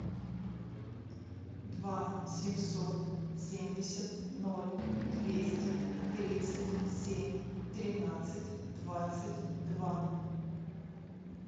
два семьсот семьдесят ноль двести тридцать семь тринадцать двадцать два